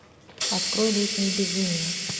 открой летнее безумие